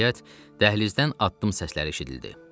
Nəhayət, dəhlizdən addım səsləri eşidildi.